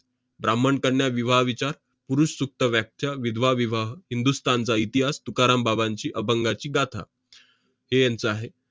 ब्राम्हण कन्या विवाह विचार, पुरुष सुप्त व्याख्या, विधवा विवाह, चा इतिहास, तुकाराम बाबांची अभंगाची गाथा हे यांचं आहे.